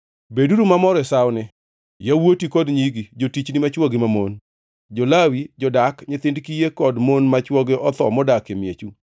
Beduru mamor e sawoni, yawuoti kod nyigi, jotichni machwo gi mamon, jo-Lawi, jodak, nyithind kiye kod mon ma chwogi otho modak e miechu.